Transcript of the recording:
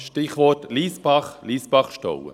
Stichwort Lyssbach, Lyssbachstollen.